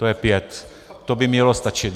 To je pět, to by mělo stačit.